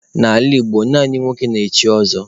N'ala Igbo, naanị nwoke na-echi ọzọ.